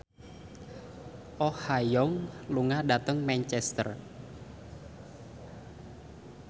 Oh Ha Young lunga dhateng Manchester